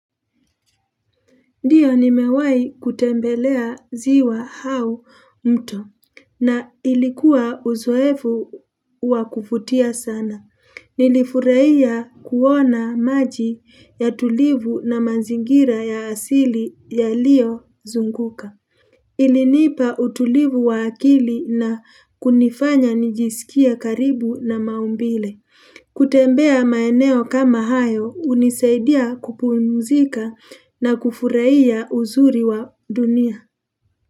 Ndiyo nimewahi kutembelea ziwa au mto na ilikuwa uzoefu wa kuvutia sana. Nilifurahia kuona maji ya utulivu na mazingira ya asili yaliyozunguka. Ilinipa utulivu wa akili na kunifanya nijisikie karibu na maumbile. Kutembea maeneo kama hayo hunisaidia kupumzika na kufurahia uzuri wa dunia.